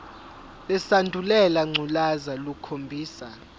lesandulela ngculazi lukhombisa